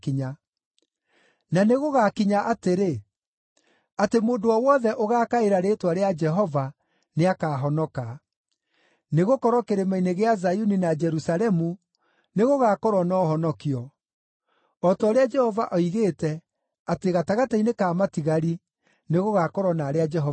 Na nĩgũgakinya atĩrĩ, atĩ mũndũ o wothe ũgaakaĩra rĩĩtwa rĩa Jehova nĩakahonoka; nĩgũkorwo kĩrĩma-inĩ gĩa Zayuni na Jerusalemu nĩgũgakorwo na ũhonokio, o ta ũrĩa Jehova oigĩte, atĩ gatagatĩ-inĩ ka matigari nĩgũgakorwo na arĩa Jehova eĩtĩire.